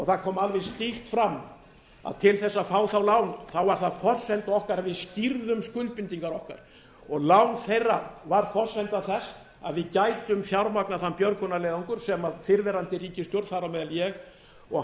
það kom alveg skýrt fram að til þess að fá það lán var það forsenda okkar að við skýrðum skuldbindingar okkar og lán þeirra var forsenda þess að við gætum fjármagnað þann björgunarleiðangur sem fyrrverandi ríkisstjórn þar á meðal ég og